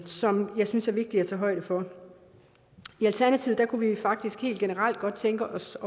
som jeg synes er vigtige at tage højde for i alternativet kunne vi faktisk godt tænke os